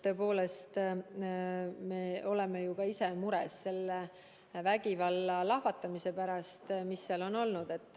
Tõepoolest, me oleme ka ise mures vägivalla lahvatamise pärast, mis seal on olnud.